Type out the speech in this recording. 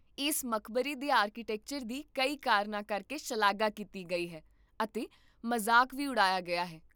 ਇਸ ਮਕਬਰੇ ਦੇ ਆਰਕੀਟੈਕਚਰ ਦੀ ਕਈ ਕਾਰਨਾਂ ਕਰਕੇ ਸ਼ਲਾਘਾ ਕੀਤੀ ਗਈ ਹੈ ਅਤੇ ਮਜ਼ਾਕ ਵੀ ਉਡਾਇਆ ਗਿਆ ਹੈ